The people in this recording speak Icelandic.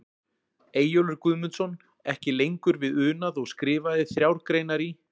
Eyjólfur Guðmundsson, ekki lengur við unað og skrifaði þrjár greinar í